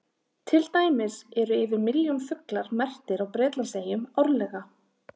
Til dæmis eru yfir milljón fuglar merktir á Bretlandseyjum árlega.